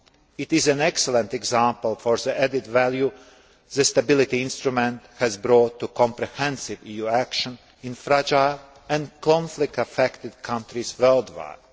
It is an excellent example of the added value the stability instrument has brought to comprehensive EU action in fragile and conflict affected countries worldwide.